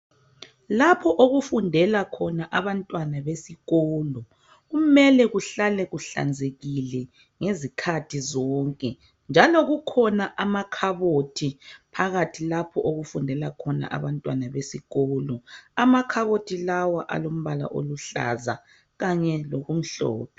Lapho okufundela khona abantwana besikolo kumele kuhlale kuhlanzekile ngezikhathi zonke njalo kukhona amakhabothi phakathi lapho okufundela khona abantwana besikolo. Amakhabothi lawa alombala oluhlaza kanye lokumhlophe.